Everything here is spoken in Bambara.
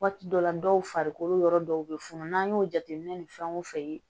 Waati dɔ la dɔw farikolo yɔrɔ dɔw be funu n'an y'o jateminɛ ni fɛnw fɛ